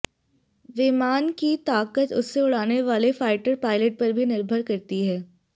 विमान की ताकत इसे उड़ाने वाले फाइटर पायलट पर भी निर्भर करती है